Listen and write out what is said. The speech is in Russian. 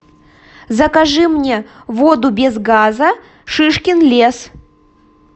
закажи мне воду без газа шишкин лес